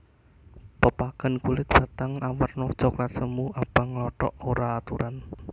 Pepagan kulit batang awerna coklat semu abang nglothok ora aturan